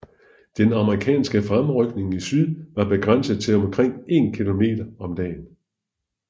Den amerikanske fremrykning i syd var begrænset til omkring 1 km om dagen